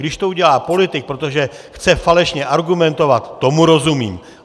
Když to udělá politik, protože chce falešně argumentovat, tomu rozumím.